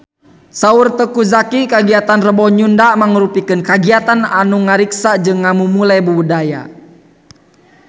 Saur Teuku Zacky kagiatan Rebo Nyunda mangrupikeun kagiatan anu ngariksa jeung ngamumule budaya Sunda